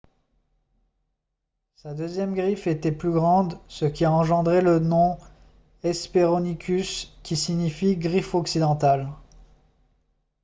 sa deuxième griffe était plus grande ce qui a engendré le nom hesperonychus qui signifie « griffe occidentale »